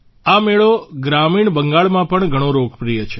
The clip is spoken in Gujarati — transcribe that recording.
આ મેળો ગ્રામીણ બંગાળમાં ઘણો લોકપ્રિય છે